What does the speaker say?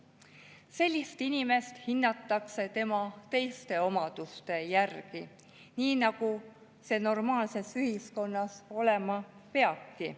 Sellist inimest hinnatakse tema teiste omaduste järgi, nii nagu see normaalses ühiskonnas olema peabki.